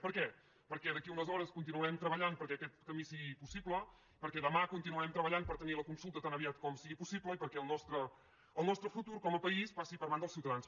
per què perquè d’aquí a unes hores continuarem treballant perquè aquest camí sigui possible perquè demà continuarem treballant per tenir la consulta tan aviat com sigui possible i perquè el nostre futur com a país passi per mans dels ciutadans